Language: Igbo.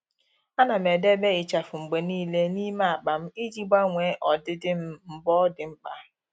À nà m edèbè ịchafụ mgbe nìile n’ímé ákpá m iji gbanwee ọdịdị m mgbe ọ́ dị́ mkpa.